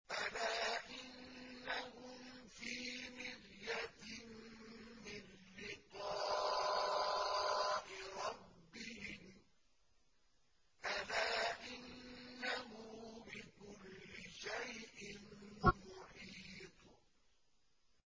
أَلَا إِنَّهُمْ فِي مِرْيَةٍ مِّن لِّقَاءِ رَبِّهِمْ ۗ أَلَا إِنَّهُ بِكُلِّ شَيْءٍ مُّحِيطٌ